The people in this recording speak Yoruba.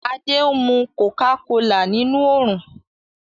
Adé ń mu kòká kolà nínú oòrùn